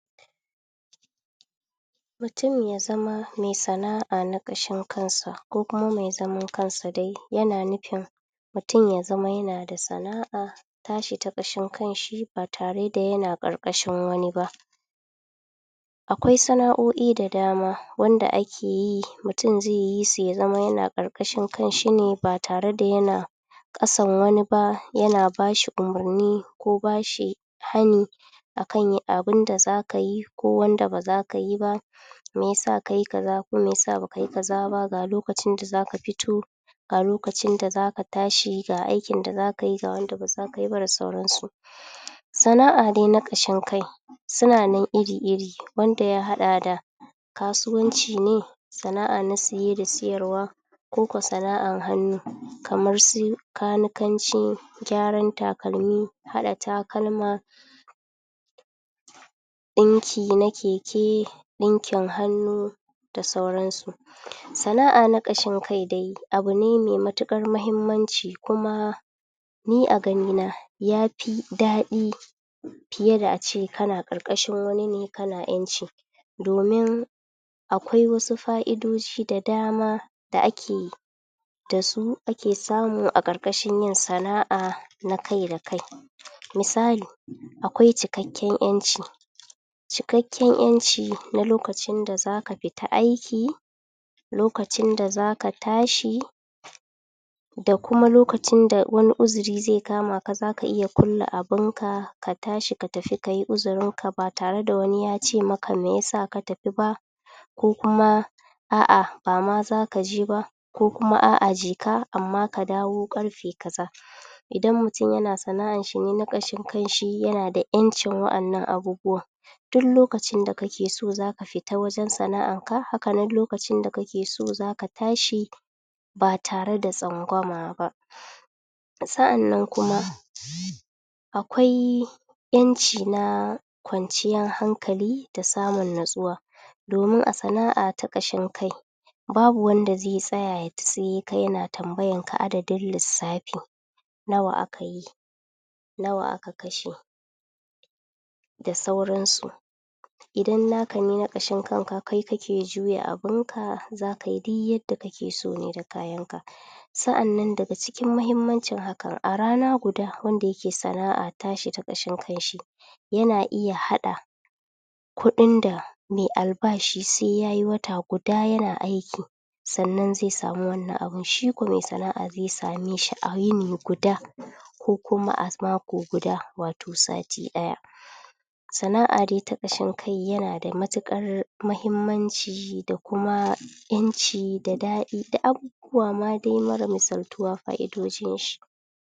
mutum yazama me sana'a na kashin kansa ko kuma me zaman kansa yana da kyau mutum yazama yana da sana'a tashi ta kashin kanshi batare da yana karkashin wani ba akwai sana'oi da dama wanda ake yi mutum zeyisu yazama yana karkashin kanshi ne batare da yana kasan wani ba yana bashi umurni ko bashi hani akan abun da zaka yi ko wanda bazaka yi ba ko yasa kayi kaza ko yasa bakayi kazaba ga lokacin da zaka fito ga lokacin da zaka tashi ga aikin da zaka yi da wanda bazaka yiba da sauransu sana'a dai na kashin kai sunanan iri-iri wanda ya hada da kasuwan ci ne sana'a na siye da siyarwa koko sana'an hannu kamar su lanikanci gyaran takalmi hada takalma dinki na keke wakin hannu da sauransu sana'a na kashin kai abune me matukar muhimman ci kuma ni a ganina na yafi dadi fiye da ace kana karkashin wani ne kana aiki domin akwai wasu fa'idoji da dama da ake dasu ake samu a karkashin yin sana'a na kai da kai misali akwai cikakken yanci cikakken yanci da kuma lokacin da zaka fita aiki lokacin da zaka tashi da kuma lokacin da wani uzuri ze kama ka zaka iya kulle abun ka katashi ka tafi kayi uzurinka ba tare da wani yacemaka me yasa ka tafi ba ko kuma a'a bama zaka jeba ko kuma a''a jeka amma kadawo karfe kaza idan mutum yana sana'an shi ne nakanshin kanshi yana da yancin wadan nan abubuwan duk lokacin dake so zakai ta ta wajen sana'an ka hakanan lokacin dake so zaka tashi ba tare da tsangwama ba to sa'an nan kuma akwai yanci na kwanciyar hankali da samun natsuwa domun a sana'a ta kashin kai babu wanda ze tsaya ya tiske ka yana tambayan ka adadin lissafi nawa akayi nawa aka kashe da sauran su idan naka ne na kashin kanka kai kake juya abunka zakayi duk yanda kakeso da abunka ka sa'an nan daga muhimmancin haka a rana guda wanda ke sana'a tashi ta kashin kanshi yana iya hada kudin da me albashi se yayi wata guda yana aiki sannan ze sami wani wannan abun shi kudin sana'a ze sameshi a yini guda ko kuma a mako guda wato sati daya sana'a fdai ta kasin kai yana da matukar girma muhimmanci da kuma yanci da dadi da aka zuwa madai mara misaltuwa fa'idodin shi